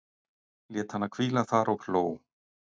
Lét hana hvíla þar og hló.